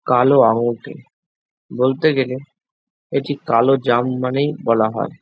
কালো আঙুরটি। বলতে গেলে এটি কালো জাম মানেই বলা হয়।